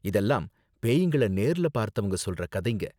இதெல்லாம் பேய்ங்கள நேர்ல பார்த்தவங்க சொல்ற கதைங்க.